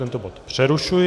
Tento bod přerušuji.